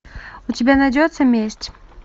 у тебя найдется месть